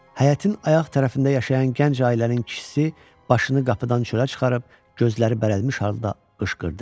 Həyətin ayaq tərəfində yaşayan gənc ailənin kişisi başını qapıdan çölə çıxarıb gözləri bərəlmiş halda qışqırdı.